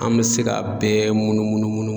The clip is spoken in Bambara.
An me se k'a bɛɛ munu munu munu munu